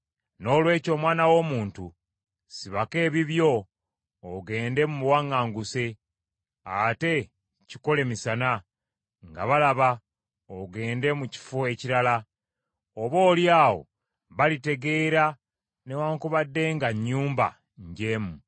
“Noolwekyo omwana w’omuntu, sibako ebibyo ogende mu buwaŋŋanguse, ate kikole misana, nga balaba ogende mu kifo ekirala. Oboolyawo balitegeera, newaakubadde nga nnyumba njeemu.